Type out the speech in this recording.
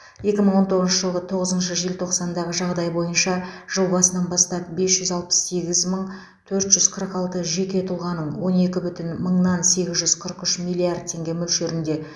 екі мың он тоғызыншы жылғы тоғызыншы желтоқсандағы жағдай бойынша жыл басынан бастап бес жүз алпыс сегіз мың төрт жүз қырық алты жеке тұлғаның он екі бүтін мыңнан сегіз жүз қырық үш миллиард теңге мөлшерінде